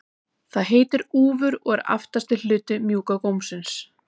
Það heitir úfur og er aftasti hluti mjúka gómsins.